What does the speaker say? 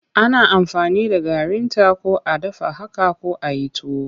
Ana aamfani da garinta ko a dafa haka ko a yi tuwo.